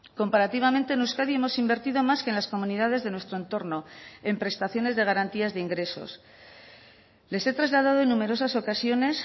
comparativamente en euskadi hemos invertido más que en las comunidades de nuestro entorno en prestaciones de garantías de ingresos les he trasladado en numerosas ocasiones